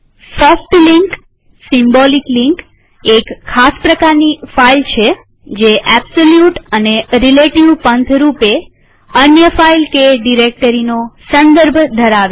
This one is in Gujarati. સોફ્ટ લિંક સિમ્બોલિક લિંક એક ખાસ પ્રકારની ફાઈલ છે જે એબ્સોલ્યુટ કે રીલેટીવ પંથ રૂપે અન્ય ફાઈલ કે ડિરેક્ટરીનો સંદર્ભ ધરાવે છે